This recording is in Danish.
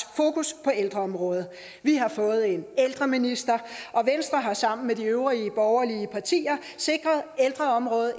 fokus på ældreområdet vi har fået en ældreminister og venstre har sammen med de øvrige borgerlige partier sikret ældreområdet